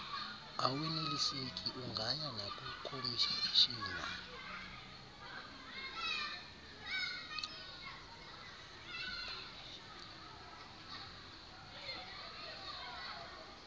aweneliseki ungaya nakukhomishina